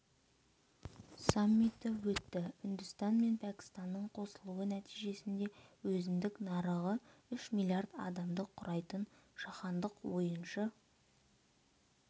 саммиті өтті үндістан мен пәкістанның қосылуы нәтижесінде өзіндік нарығы үш миллиард адамды құрайтын жаһандық ойыншы